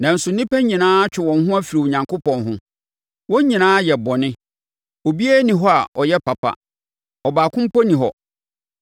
Nanso nnipa nyinaa atwe wɔn ho afiri Onyankopɔn ho; wɔn nyinaa ayɛ bɔne. Obiara nni hɔ a ɔyɛ papa. Ɔbaako mpo nni hɔ.